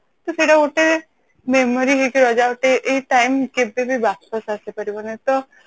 ତ ସେଇଟା ଗୋଟେ memory ହେଇକି ରହିଲା ଗୋଟେ ଏଇ time କେବେ ବି ୱାପସ ଆସିପାରିବନି ତ